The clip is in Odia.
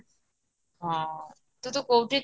ହଁ ତୁତକୋଉଠି